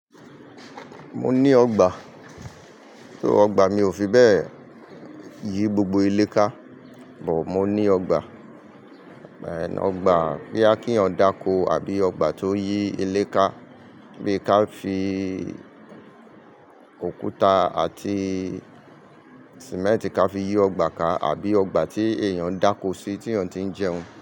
Mo ní ọgbà, ṣo ọgbà mi ò fi bẹ́ẹ̀ yí gbogbo ilé ká, but mo ní ọgbà, ọgbà boyá kí èèyàn dákó àbí ọgbà tó yí ilé ká bí ká fi òkúta àti cemẹ́ntì ká fi yí ọgbà ká àbí ọgbà tí èèyàn dákó sí tí èèyàn tí ń jẹun.